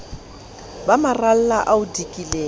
ba maralla a o dikileng